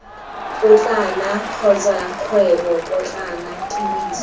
potlana kotsa kgwebo potlana tiriso